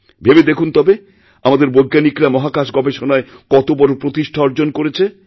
ভেবে দেখুন তবে আমাদেরবৈজ্ঞানিকরা মহাকাশ গবেষণায় কত বড় প্রতিষ্ঠা অর্জন করেছে